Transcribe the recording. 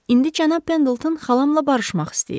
İndi cənab Pendleton xalamla barışmaq istəyir.